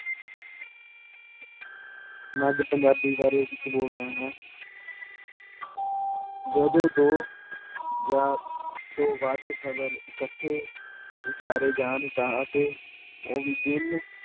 ਮੈਂ ਅੱਜ ਪੰਜਾਬੀ ਬਾਰੇ ਕੁਛ ਬੋਲ ਰਿਹਾ ਹਾਂ ਜਦੋਂ ਦੋ ਜਾਂਂ ਤੋਂ ਵੱਧ ਸ਼ਬਦ ਇਕੱਠੇ ਉਚਾਰੇ ਜਾਣ ਤਾਂ ਅਤੇ ਉਹ ਵੀ ਭਿੰਨ